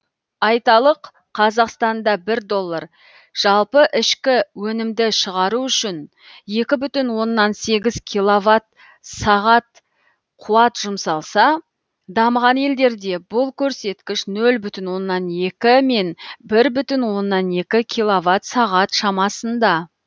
айталық қазақстанда бір доллар жалпы ішкі өнімді шығару үшін екі бүтін оннан сегіз киловатт сағат қуат жұмсалса дамыған елдерде бұл көрсеткіш нөл бүтін оннан екі мен бір бүтін оннан екі киловатт сағат шамасында